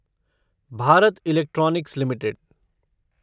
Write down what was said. Bharat Electronics limited